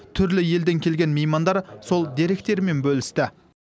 түрлі елден келген меймандар сол деректерімен бөлісті